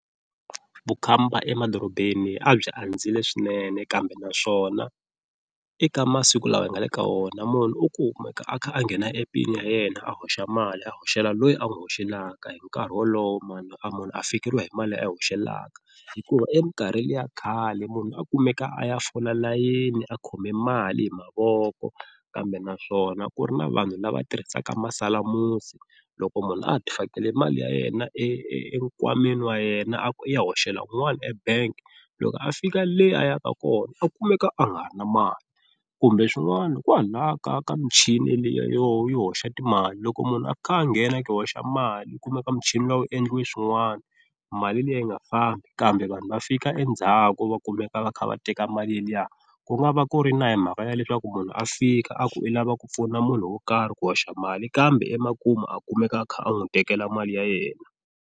Vukhamba emadorobeni a byi andzile swinene kambe naswona eka masiku lawa hi nga le ka wona munhu u kumeka a kha a nghena app-ini ya yena a hoxa mali a hoxela loyi a n'wi hoxela hi nkarhi wolowo, a munhu a fikeriwa hi mali a hoxela mhaka hikuva e minkarhi liya khale munhu a kumeka a ya fola layeni a khome mali hi mavoko kambe naswona ku ri na vanhu lava tirhisaka masalamusi, loko munhu a ha ti fakele mali ya yena e enkwameni wa yena a ku u ya hoxela un'wani e bank loko a fika le a yaka kona a kumeka a ha ri na mali kumbe swin'wana kwahala ka ka michini liya yo yo hoxa timali, loko munhu a kha a nghena a ku i hoxa mali, u kumeka muchini luwa wu endliwe swin'wani mali liya yi nga fambi kambe vanhu va fika endzhaku va kumeka va kha va teka mali liya ku nga va ku ri na hi mhaka ya leswaku munhu a fika a ku i lava ku pfuna munhu wo karhi ku hoxa mali kambe emakumu a kumeka a kha a n'wi tekela mali ya yena.